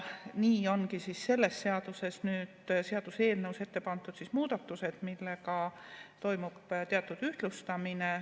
Nii ongi selles seaduseelnõus ette pandud muudatused, millega toimub teatud ühtlustamine.